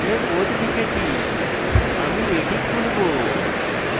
আমি ইতিমধ্যে code লিখেছি আমি এটি খুলবো